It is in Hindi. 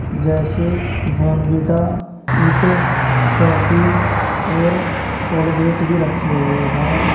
जैसे बॉर्नविटा हिट सैफी और कोलगेट भी रखे हुए हैं।